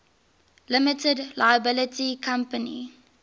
limited liability company